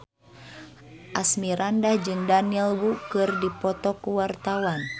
Asmirandah jeung Daniel Wu keur dipoto ku wartawan